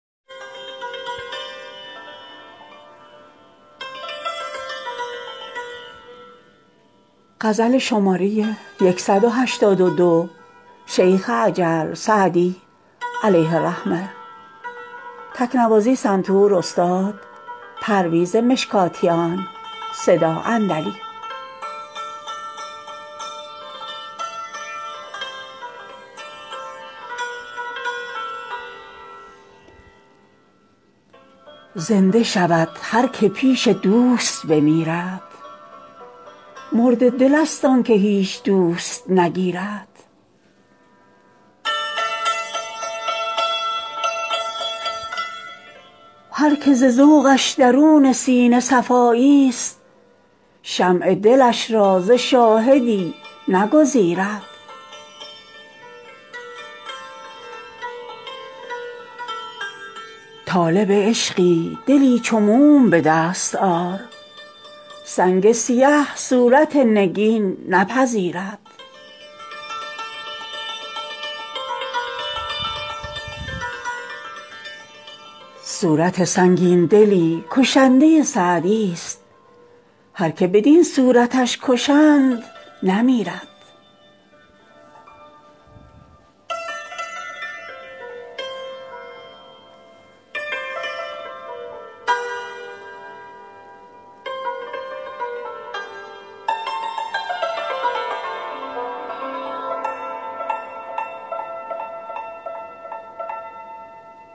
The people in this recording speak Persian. زنده شود هر که پیش دوست بمیرد مرده دلست آن که هیچ دوست نگیرد هر که ز ذوقش درون سینه صفاییست شمع دلش را ز شاهدی نگزیرد طالب عشقی دلی چو موم به دست آر سنگ سیه صورت نگین نپذیرد صورت سنگین دلی کشنده سعدیست هر که بدین صورتش کشند نمیرد